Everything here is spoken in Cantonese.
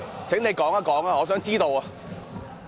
請你說說，我想知道。